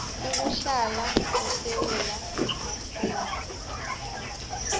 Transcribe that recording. ukuhlala esewula afrika